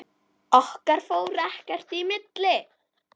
Okkar fór ekkert í milli.